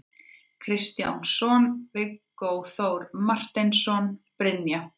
Kristjánsson, Viggó Þór Marteinsson, Brynja